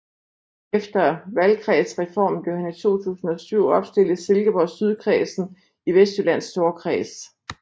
Efter valgkredsreformen blev han i 2007 opstillet i Silkeborg Sydkredsen i Vestjyllands Storkreds